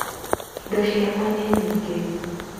Indo ciakwa nĩ nyingĩ